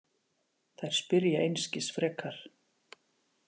Þær spyrja einskis frekar.